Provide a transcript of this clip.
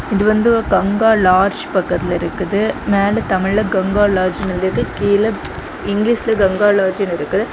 இது வந்து ஒரு கங்கா லார்ஜ் பக்கத்துல இருக்குது மேல தமிழ்ல கங்கா லாட்ஜ்னு எழுதி இருக்கு கீழ இங்கிலீஷ்ல கங்கா லாட்ஜ்னு இருக்கு.